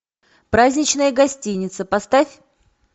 праздничная гостиница поставь